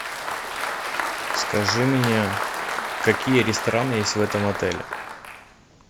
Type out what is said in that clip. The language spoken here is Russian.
скажи мне какие рестораны есть в этом отеле